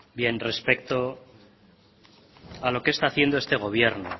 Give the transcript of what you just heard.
respecto a lo que está haciendo este gobierno